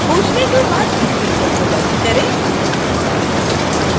खोजने के बाद इस window को बंद करें